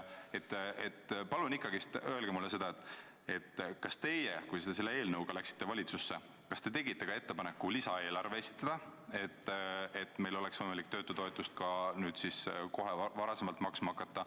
Palun ikkagi öelge seda, kas te siis, kui te läksite selle eelnõuga valitsusse, tegite ka ettepaneku lisaeelarve esitada, et meil oleks võimalik töötutoetust nüüd kohe või varem maksma hakata.